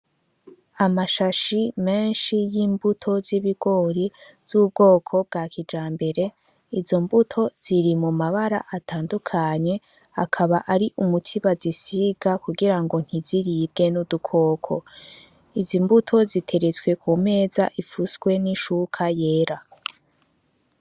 Amashashi meshi y'imbuto z'ibigori z'ubwoko bwa kijambere izo mbuto ziri mu mabara atandukanye akaba ari umuti bazisiga kugirango ntiziribwe n'udukoko izi mbuto ziteretswe ku meza ipfutswe n'ishuka yera.